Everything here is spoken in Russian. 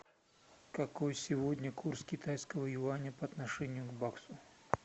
какой сегодня курс китайского юаня по отношению к баксу